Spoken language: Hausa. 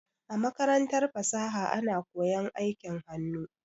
A makarantar fasaha ana koyan aikin hannu.